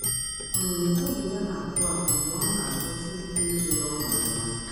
um Obi ya na-akụ akụ mgbe ọ na-achọsị ike ịtụle ọnọdụ ahụ.